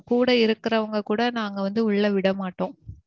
கூட இருக்குறவங்க கூட நாங்க வந்து உள்ள விட மாட்டோம்.